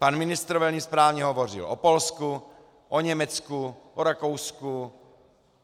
Pan ministr velmi správně hovořil o Polsku, o Německu, o Rakousku.